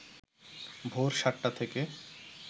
ভোর সাতটা থেকে